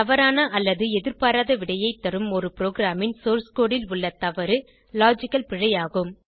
தவறான அல்லது எதிர்பாராத விடையைத் தரும் ஒரு ப்ரோகிராமின் சோர்ஸ் கோடு ல் உள்ள தவறு லாஜிக்கல் பிழை ஆகும்